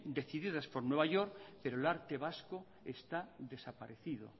decididas por new york pero el arte vasco está desaparecido